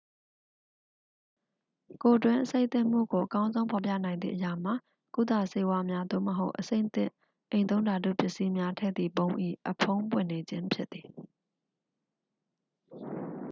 ကိုယ်တွင်းအဆိပ်သင့်မှုကို အကောင်းဆုံးဖော်ပြနိုင်သည့်အရာမှာ ကုသဆေးဝါးများ သို့မဟုတ် အဆိပ်သင့်အိမ်သုံးဓာတုပစ္စည်းများ ထည့်သည့်ပုံး၏ အဖုံးပွင့်နေခြင်းဖြစ်သည်